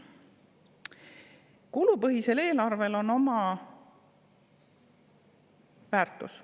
Kulupõhisel eelarvel on oma väärtus.